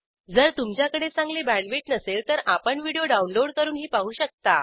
जर तुमच्याकडे चांगली बॅण्डविड्थ नसेल तर आपण व्हिडिओ डाउनलोड करूनही पाहू शकता